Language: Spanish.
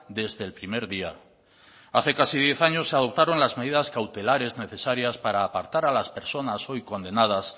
desde el primer día hace casi diez años se adoptaron las medidas cautelares necesarias para apartar a las personas hoy condenadas